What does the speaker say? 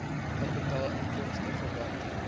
kapitaal inkomste verwante